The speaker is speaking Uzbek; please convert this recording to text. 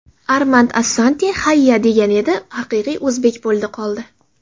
Armand Assante ‘hayyyaa’ degan edi, haqiqiy o‘zbek bo‘ldi qoldi.